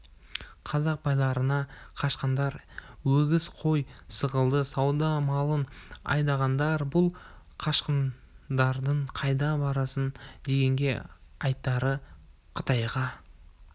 қазақ байларынан қашқандар өгіз қой сықылды сауда малын айдағандар бұл қашқындардың қайда барасың дегенде айтары қытайға